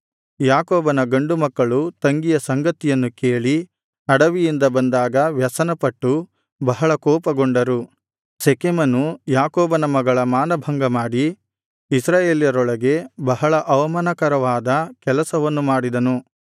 ಯಾಕೋಬನ ಗಂಡುಮಕ್ಕಳು ತಂಗಿಯ ಸಂಗತಿಯನ್ನು ಕೇಳಿ ಅಡವಿಯಿಂದ ಬಂದಾಗ ವ್ಯಸನಪಟ್ಟು ಬಹಳ ಕೋಪಗೊಂಡರು ಶೆಕೆಮನು ಯಾಕೋಬನ ಮಗಳ ಮಾನಭಂಗ ಮಾಡಿ ಇಸ್ರಾಯೇಲರೊಳಗೆ ಬಹಳ ಅವಮಾನಕರವಾದ ಕೆಲಸವನ್ನು ಮಾಡಿದನು